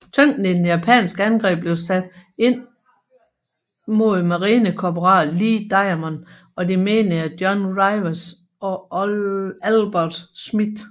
Tyngden i det japanske angreb blev sat ind mod marinekorporal Lee Diamond og de menige John Rivers og Albert Schmid